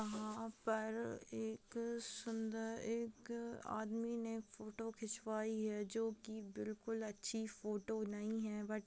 वहाँ पर एक सुंदर एक आदमी ने फोटो खिचवाई है जो की बिलकुल अच्छी फोटो नही है बट --